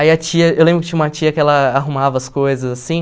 Aí a tia, eu lembro que tinha uma tia que ela arrumava as coisas assim...